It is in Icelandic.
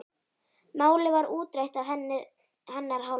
Málið var útrætt af hennar hálfu.